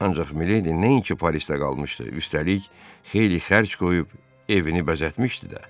Ancaq Mileydi nəinki Parisdə qalmışdı, üstəlik xeyli xərc qoyub evini bəzətmişdi də.